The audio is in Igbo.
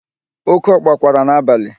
Oke ọkpa kwara n'abalị.